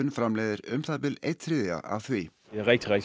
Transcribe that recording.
framleiðir um það bil einn þriðja af því